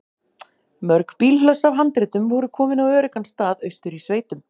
Mörg bílhlöss af handritum voru komin á öruggan stað austur í sveitum.